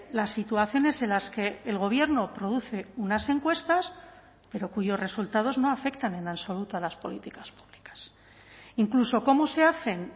las situaciones en las que el gobierno produce unas encuestas pero cuyos resultados no afectan en absoluto a las políticas públicas incluso cómo se hacen